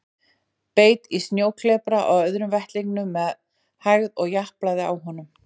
Beit í snjóklepra á öðrum vettlingnum með hægð og japlaði á honum.